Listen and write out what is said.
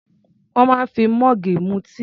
Wọ́n máa ń fi mọ́ọ̀gù mu tíì.